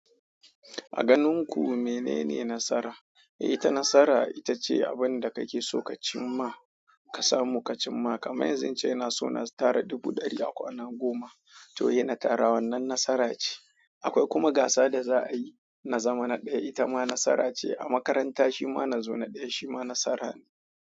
A ganin ku menene nasara? Ita nasara ita ce abin da kake so ka cim ma ka samu ka cim ma. Kaman yanzu in ce so na tara dubu ɗaya akwana goma, to in na tara wannan nasara ce. Akwai kuma gasa da zayi na zama na daya ita ma nasara ce. A makaranta shima na zo na ɗaya shima nasara ne.